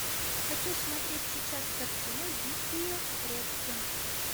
хочу смотреть сейчас картину дикие предки